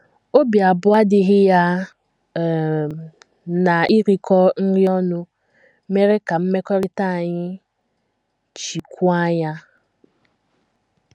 Obi abụọ adịghị ya um na irikọ nri ọnụ mere ka mmekọrịta anyị chikwuo anya. ”